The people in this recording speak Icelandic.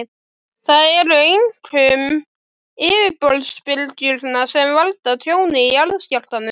Það eru einkum yfirborðsbylgjurnar sem valda tjóni í jarðskjálftum.